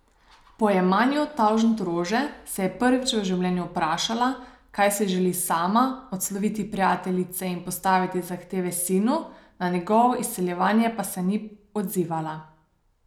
Po jemanju tavžentrože se je prvič v življenju vprašala, kaj si želi sama, odslovila prijateljice in postavila zahteve sinu, na njegovo izsiljevanje pa se ni odzivala.